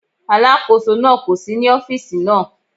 Alákóso náà kò sí ní ọ́fíìsì náà.